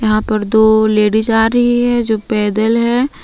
यहां पर दो लेडिस आ रही है जो पैदल है।